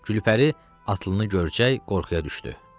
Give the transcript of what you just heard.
Gülpəri atlıını görçək qorxuya düşdü.